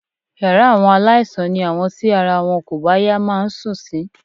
Yàrá àwọn aláìsàn ni àwọn tí ara wọn kò bá yá máa ń sùn sí